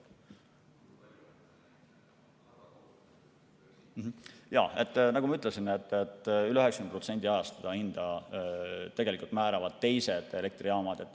Jaa, nagu ma ütlesin, üle 90% ajast määravad hinda tegelikult teised elektrijaamad.